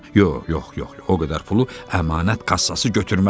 Yox, yox, yox, o qədər pulu əmanət kassası götürməz.